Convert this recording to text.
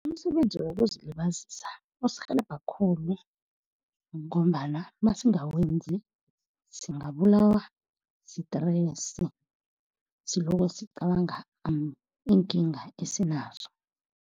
Umsebenzi wokuzilibazisa usirhelebha khulu, ngombana nasingawezi singabulawa stress, silokho sicabanga iinkinga esinazo.